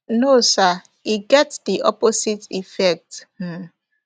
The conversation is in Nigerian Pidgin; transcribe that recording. no sir e get di opposite effect um